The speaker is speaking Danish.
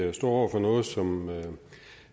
vi står over for noget som